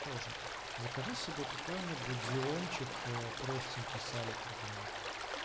тоже закажи себе какую-нибудь зиончик простенький салика там